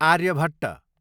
Aryabhata